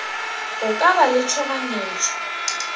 go ka ba le tšhoganyetšo